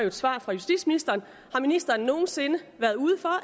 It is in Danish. et svar fra justitsministeren har ministeren nogen sinde været ude for